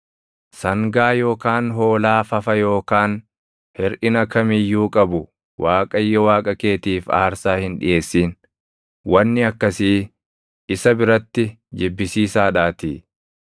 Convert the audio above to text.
Sangaa yookaan hoolaa fafa yookaan hirʼina kam iyyuu qabu Waaqayyo Waaqa keetiif aarsaa hin dhiʼeessin; wanni akkasii isa biratti jibbisiisaa dhaatii.